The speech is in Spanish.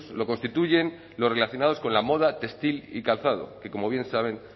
lo constituyen los relacionados con la moda textil y calzado que como bien saben